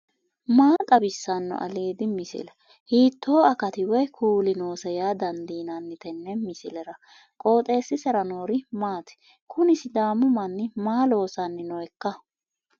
maa xawissanno aliidi misile ? hiitto akati woy kuuli noose yaa dandiinanni tenne misilera? qooxeessisera noori maati ? kuni sidaami manni maa loossanni nooikka